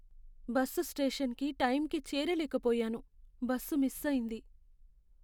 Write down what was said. Bus స్టేషన్కి టైంకి చేరలేక పోయాను, బస్సు మిస్ అయింది.